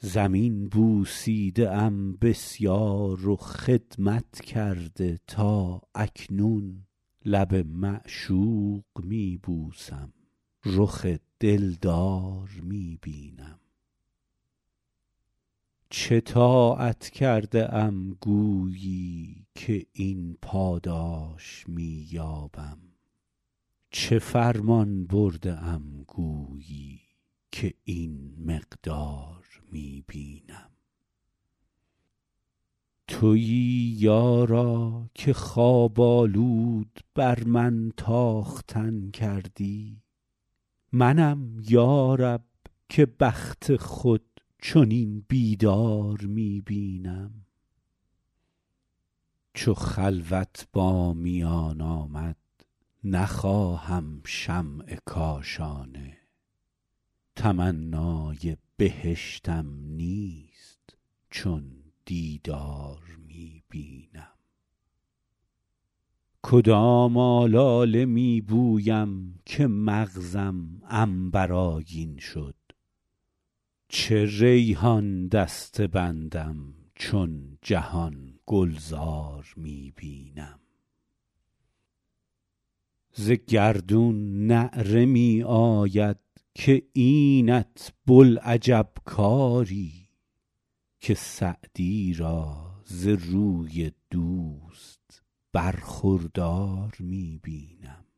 زمین بوسیده ام بسیار و خدمت کرده تا اکنون لب معشوق می بوسم رخ دلدار می بینم چه طاعت کرده ام گویی که این پاداش می یابم چه فرمان برده ام گویی که این مقدار می بینم تویی یارا که خواب آلود بر من تاختن کردی منم یا رب که بخت خود چنین بیدار می بینم چو خلوت با میان آمد نخواهم شمع کاشانه تمنای بهشتم نیست چون دیدار می بینم کدام آلاله می بویم که مغزم عنبرآگین شد چه ریحان دسته بندم چون جهان گلزار می بینم ز گردون نعره می آید که اینت بوالعجب کاری که سعدی را ز روی دوست برخوردار می بینم